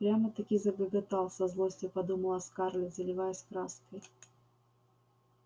прямо-таки загоготал со злостью подумала скарлетт заливаясь краской